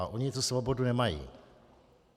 A oni tu svobodu nemají.